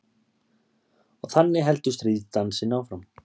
Og þannig heldur stríðsdansinn áfram.